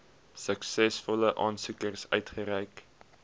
suksesvolle aansoekers uitgereik